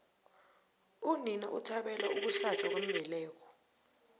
unina uthabele ukuhlatjwa kwembeleko